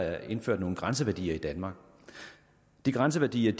er indført nogle grænseværdier i danmark de grænseværdier